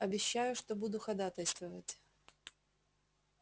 обещаю что буду ходатайствовать